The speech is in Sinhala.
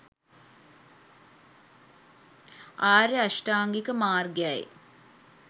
ආර්ය අෂ්ටාංගික මාර්ගයයි.